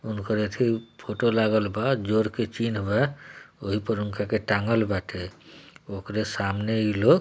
उनको रेती फोटो लागलबा जोर की चीन बा वही पर उनका के टॉगल बाटे वो करे सामने के लोग।